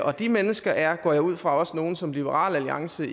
og de mennesker er går jeg ud fra også nogle som liberal alliance